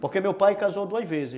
Porque meu pai casou duas vezes.